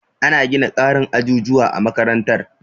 Ana gina ƙarin ajujuwa a makarantar.